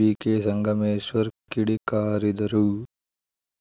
ಬಿಕೆಸಂಗಮೇಶ್ವರ್‌ ಕಿಡಿಕಾರಿದರು